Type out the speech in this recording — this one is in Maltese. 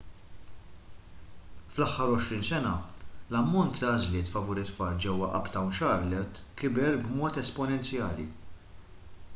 fl-aħħar 20 sena l-ammont ta' għażliet favur it-tfal ġewwa uptown charlotte kiber b'mod esponenzjali